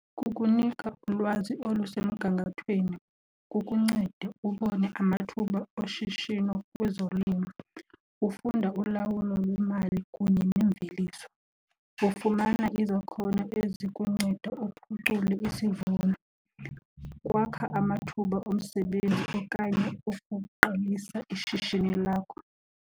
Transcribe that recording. Kukunika ulwazi olusemgangathweni, kukuncede ubone amathuba oshishino kwezolimo, ufunda ulawulo lwemali kunye neemveliso, ufumana izakhono ezikunceda uphucule isivuno. Kwakha amathuba omsebenzi okanye okuqalisa ishishini lakho.